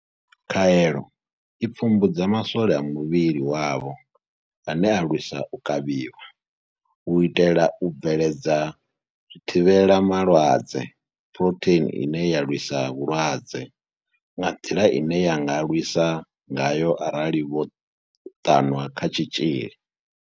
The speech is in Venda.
Khaelo i pfumbudza ma swole a muvhili wavho ane a lwisa u kavhiwa, u itela u bveledza zwithivhela malwadze phurotheini ine ya lwisa vhulwadze nga nḓila ine ya nga lwisa ngayo arali vho ṱanwa kha tshitzhili.